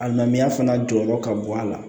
A ŋaniya fana jɔyɔrɔ ka bɔ a la